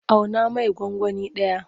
Auna mai gwangwani ɗaya.